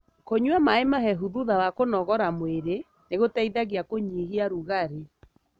Kũnyua maĩ mahehu thutha wa kũnogora mwĩri nĩgũteithagia kũnyihia rugarĩ .